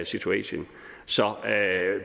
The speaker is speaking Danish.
situation så